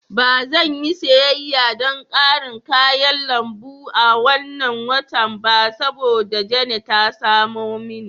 Ba zan yi siyayya don ƙarin kayan lambu a wannan watan ba saboda Jane ta samo mini.